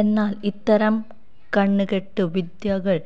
എന്നാല് ഇത്തരം കണ്കെട്ട് വിദ്യകള്